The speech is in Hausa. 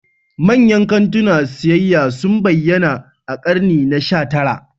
Manyan kantunan siyayya sun bayyana a ƙarni na sha tara.